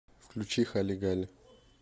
включи хали гали